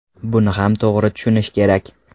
Buni ham to‘g‘ri tushunish kerak.